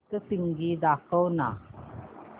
सप्तशृंगी दाखव ना